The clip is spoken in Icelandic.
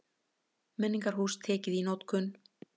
Menningarhús tekið í notkun